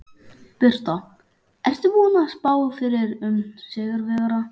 Birta: Ertu búinn að spá fyrir um sigurvegara?